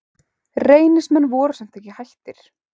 Reynismenn voru samt ekki hættir.